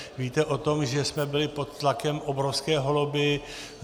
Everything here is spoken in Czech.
Víte o tom, že jsme byli pod tlakem obrovské lobby.